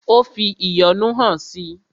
Ó fi ìyọ́nú hàn si.